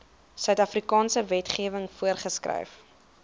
suidafrikaanse wetgewing voorgeskryf